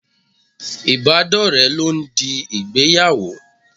Ibadore lọ ń di ìgbéyàwó.